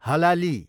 हलाली